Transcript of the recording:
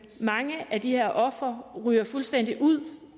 mange af de her ofre ryger fuldstændig ud